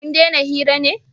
kun dena hira ne?